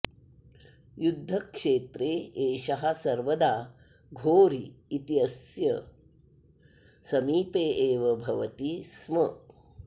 युद्धक्षेत्रे एषः सर्वदा घोरी इत्यस्य समीपे एव भवति स्म